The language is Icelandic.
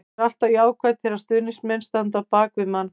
Það er alltaf jákvætt þegar stuðningsmenn standa á bak við manni.